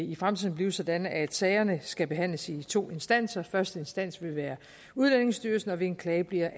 i fremtiden blive sådan at sagerne skal behandles i to instanser første instans vil være udlændingestyrelsen og ved en klage bliver